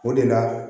O de la